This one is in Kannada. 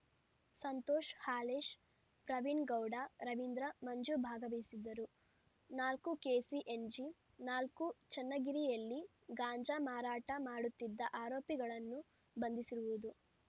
ಸಂತೋಷ್‌ ಹಾಲೇಶ್‌ ಪ್ರವೀಣ್‌ಗೌಡ ರವೀಂದ್ರ ಮಂಜು ಭಾಗವಹಿಸಿದ್ದರು ನಾಲ್ಕು ಕೆಸಿಎನ್ಜಿ ನಾಲ್ಕು ಚನ್ನಗಿರಿಯಲ್ಲಿ ಗಾಂಜಾ ಮಾರಾಟ ಮಾಡುತ್ತಿದ ಆರೋಪಿಗಳನ್ನು ಬಂಧಿಸಿರುವುದು